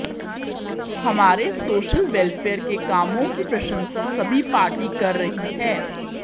हमारे social welfare के कामों की प्रशंसा सभी पार्टी कर रही है